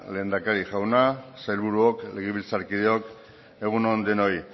lehendakari jauna sailburuok legebiltzarkideok egun on denoi